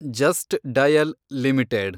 just dial limited